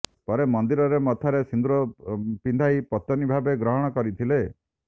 ପରେ ମନ୍ଦିରରେ ମଥାରେ ସୁନ୍ଦୁର ପିଧାଇ ପତନୀ ଭାବେ ଗ୍ରହଣ କରିଥିଲେ